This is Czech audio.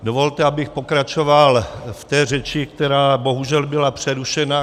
Dovolte, abych pokračoval v té řeči, která bohužel byla přerušena.